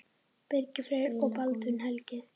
Birgir Freyr og Baldvin Helgi.